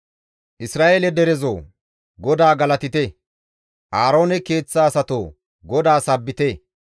Isra7eele derezoo! GODAA galatite; Aaroone keeththa asatoo! GODAA sabbite;